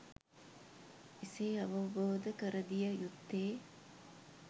එසේ අවබෝධ කර දිය යුත්තේ